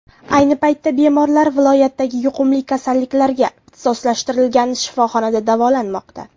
Ayni paytda bemorlar viloyatdagi yuqumli kasalliklarga ixtisoslashgan shifoxonada davolanmoqda.